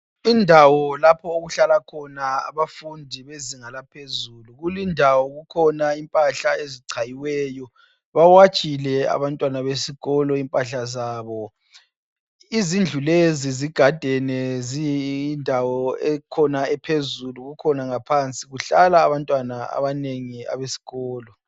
Indawo lapho okuhlala khona abafundi bezinga laphezulu. Kulindawo kukhona impahla ezichayiweyo, bawatshile abantwana besikolo impahla zabo. Izindlu lezi zigadene ziyindawo ekhona ephezulu kukhona ngaphansi kuhlala abantwana abanengi abesikolo.